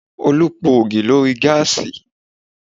Olú po ògì lórí gáàsì